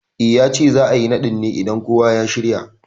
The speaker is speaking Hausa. I, yace za'a yi naɗin ne idan kowa ya shirya